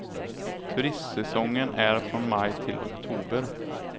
Turistsäsongen är från maj till oktober.